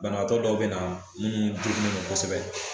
Banabaatɔ dɔw bɛ na i mun degunen no kosɛbɛ.